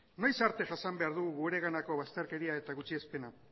noiz arte jasan behar dugu gureganako bazterkeria eta gutxiespena